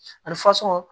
Ani faso